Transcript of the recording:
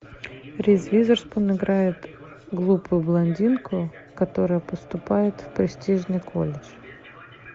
риз уизерспун играет глупую блондинку которая поступает в престижный колледж